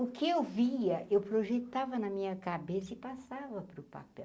O que eu via, eu projetava na minha cabeça e passava para o papel.